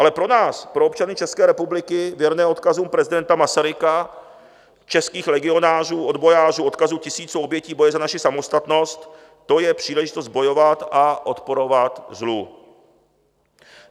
Ale pro nás, pro občany České republiky věrné odkazu prezidenta Masaryka, českých legionářů, odbojářů, odkazu tisíců obětí boje za naši samostatnost, to je příležitost bojovat a odporovat zlu.